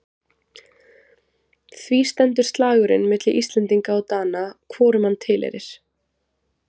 Því stendur slagurinn milli Íslendinga og Dana hvorum hann tilheyrir.